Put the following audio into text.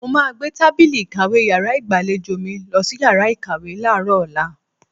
Mo máa gbé tábìlì ìkàwé yàrá ìgbàlejò mi lọ sí yàrá ìkàwé láàárọ̀ ọ̀la.